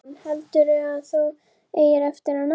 Hugrún: Heldurðu að þú eigir eftir að ná þessu?